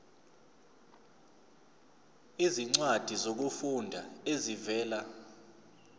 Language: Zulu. izincwadi zokufunda ezivela